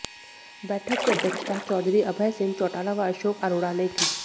बैठक की अध्यक्षता चौधरी अभय सिंह चौटाला व अशोक अरोड़ा ने की